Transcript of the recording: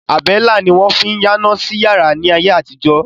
Àbẹ́lá ni wọ́n fín yáná sí yàrá ni ayé àtijọ́.